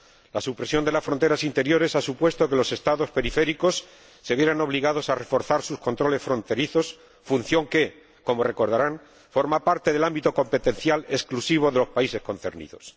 La supresión de las fronteras interiores ha supuesto que los Estados periféricos se vieran obligados a reforzar sus controles fronterizos, función que, como recordarán, forma parte del ámbito competencial exclusivo de los países concernidos.